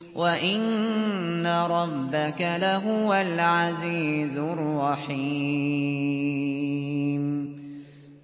وَإِنَّ رَبَّكَ لَهُوَ الْعَزِيزُ الرَّحِيمُ